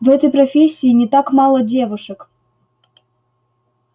в этой профессии не так мало девушек